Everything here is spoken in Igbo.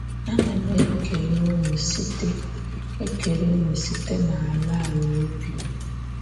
Ana m ekele ụnụ site ekele ụnụ site n’ala ala obi m! ”.